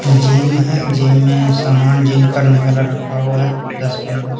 gym है gym में सामान जिम करने वाला रखा हुआ है दस पन्द्रा--